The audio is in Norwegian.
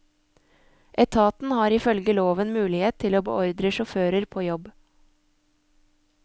Etaten har ifølge loven mulighet til å beordre sjåfører på jobb.